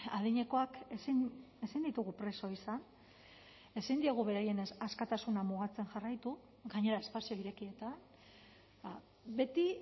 adinekoak ezin ditugu preso izan ezin diegu beraien askatasuna mugatzen jarraitu gainera espazio irekietan beti